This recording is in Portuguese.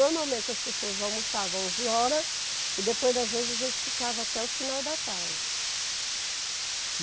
Normalmente as pessoas almoçavam onze horas e depois das onze a gente ficava até o final da tarde.